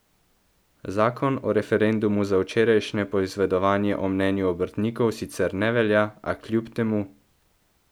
Zakon o referendumu za včerajšnje poizvedovanje o mnenju obrtnikov sicer ne velja, a kljub temu...